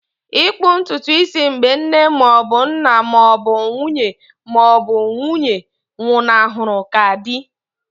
Ịkpụ ntutu isi mgbe nne ma ọ bụ nna ma ọ bụ nwunye ma ọ bụ nwunye nwụnahụrụ ka dị.